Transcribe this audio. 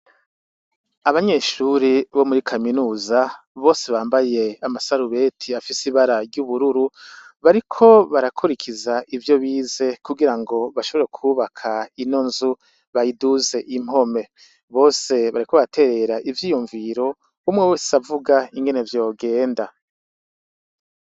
Abanyeshure bo muri kaminuza bose bambaye amasarubeti afise ibara ry'ubururu bariko barakurikiza ivyo bize kugira ngo bashobora kubaka inonzu bayiduze impome bose bariko baraterera ivy'iyumviro umwe wes’avuga inkene vyogenda.